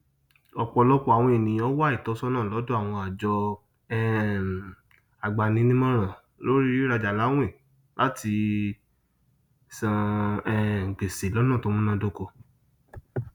ọpọlọpọ àwon èniyàn wá ìtọsọnà lọdọ àwọn àjọ um agbaninímọràn lórí rírajà láwìn latí san um gbèsè lọnà tó múná dóko